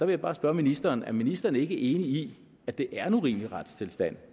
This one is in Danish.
vil bare spørge ministeren er ministeren ikke enig i at det er en urimelig retstilstand